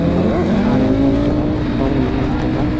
ama tani ngan taga dong ai ngan taga.